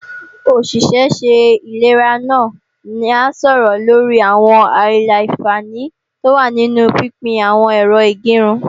Òṣìṣẹ́ ṣẹ ìlera náà a sọ̀rọ̀ lorí àwọn àìlà-àǹfààní tó wà nínu pínpín n àwọn Ẹ̀rọ ìgẹrun